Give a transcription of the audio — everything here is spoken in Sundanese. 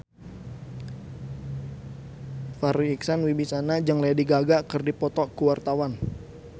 Farri Icksan Wibisana jeung Lady Gaga keur dipoto ku wartawan